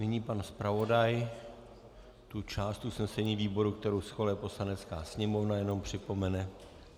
Nyní pan zpravodaj tu část usnesení výboru, kterou schvaluje Poslanecká sněmovna, jenom připomene.